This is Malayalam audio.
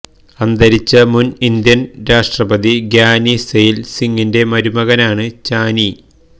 അന്തരിച്ച മുന് ഇന്ത്യന് രാഷ്ട്രപതി ഗ്യാനി സെയില് സിങ്ങിന്റെ മരുമകനാണ് ചാനി